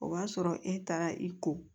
O b'a sɔrɔ e taara i ko